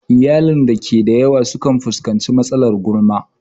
Iyalin da ke da yawa kan fuskanci matsalar gulma.